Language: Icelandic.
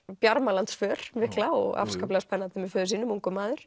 Bjarmalandsför mikla afskaplega spennandi með föður sínum ungur maður